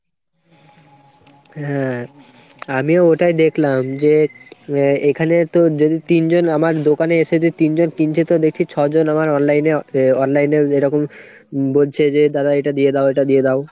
হ্যাঁ আমিও ওটাই দেখলাম যে এখানে তো যদি তিনজন আমার দোকানে এসে যদি তিনজন কিনছে তো দেখছি ছ'জন আমার online এ online এ এরকম বলছে যে দাদা এটা দিয়ে দাও এটা দিয়ে দাও।